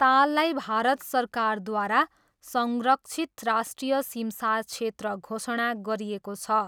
ताललाई भारत सरकारद्वारा संरक्षित राष्ट्रिय सिमसार क्षेत्र घोषणा गरिेएको छ।